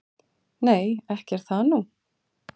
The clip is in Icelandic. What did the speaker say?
"""Nei, ekki er það nú."""